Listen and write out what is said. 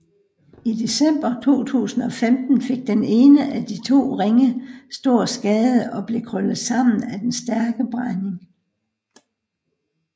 I december 2015 fik den ene af de to ringe stor skade og blev krøllet sammen af den stærke brænding